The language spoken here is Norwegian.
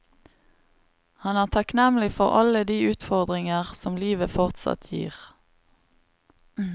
Han er takknemlig for alle de utfordringer som livet fortsatt gir.